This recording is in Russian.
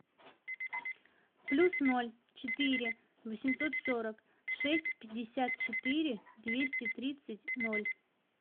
плюс ноль четыре восемьсот сорок шесть пятьдесят четыре двести тридцать ноль